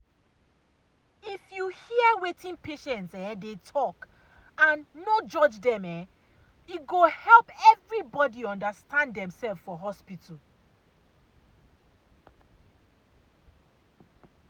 if you hear wetin patients um dey talk and no judge dem e um go um help everybody understand demself for hospital.